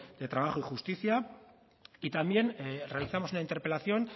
de trabajo y justicia y también realizamos una interpelación